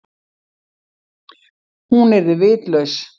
Hún yrði vitlaus.